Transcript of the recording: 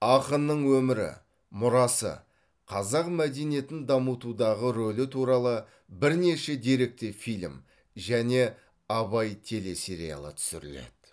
ақынның өмірі мұрасы қазақ мәдениетін дамытудағы рөлі туралы бірнеше деректі фильм және абай телесериалы түсіріледі